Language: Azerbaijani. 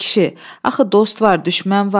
Ay kişi, axı dost var, düşmən var.